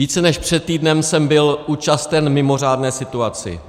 Více než před týdnem jsem byl účasten mimořádné situaci.